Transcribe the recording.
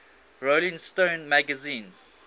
rolling stone magazine